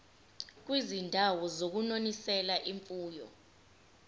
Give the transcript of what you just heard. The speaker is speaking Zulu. kwizindawo zokunonisela imfuyo